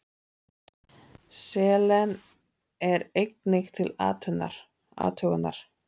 Selen er einnig til athugunar.